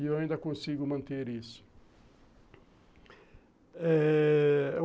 E eu ainda consigo manter isso eh...